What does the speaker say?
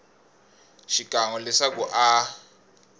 xikan we leswaku a a